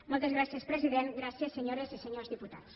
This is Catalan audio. moltes gràcies president gràcies senyores i senyors diputats